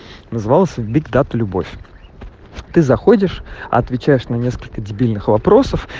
назвался бит дат любовь ты заходишь отвечаешь на несколько дебильных вопросов